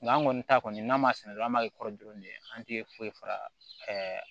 Nga an kɔni ta kɔni n'a ma sɛnɛ dɔrɔn an b'a kɛ kɔrɔlen an tɛ foyi fara